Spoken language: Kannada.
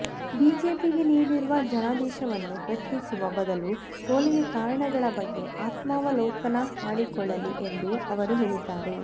ಬಿಜೆಪಿಗೆ ನೀಡಿರುವ ಜನಾದೇಶವನ್ನು ಪ್ರಶ್ನಿಸುವ ಬದಲು ಸೋಲಿಗೆ ಕಾರಣಗಳ ಬಗ್ಗೆ ಆತ್ಮಾವಲೋಕನ ಮಾಡಿಕೊಳ್ಳಲಿ ಎಂದು ಅವರು ಹೇಳಿದ್ದಾರೆ